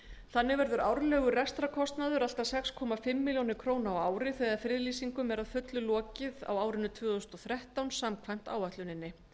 þannig verður árlegur rekstrarkostnaður alls sex og hálfa milljón króna á ári þegar friðlýsingum er að fullu lokið á árinu tvö þúsund og þrettán samkvæmt áætluninni